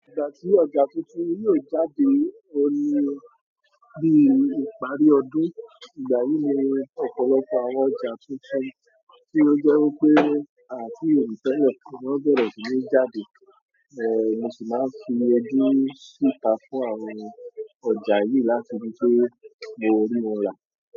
Ìgbà tí ọjà tuntun yóò jáde òun ni bí ìparí ọdún ìgbà yìí ni ọ̀pọ̀lọpọ̀ àwọn ọjà tuntun tí ó jẹ́ wípé aàti rí télè kó tó di pé wón bèrè síníjáde. Mo sì máa fi ojú síta fún àwọn ọjà yìí láti ri pé mo rí won rà.